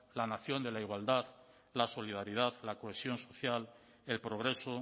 la nación de la igualdad la solidaridad la cohesión social el progreso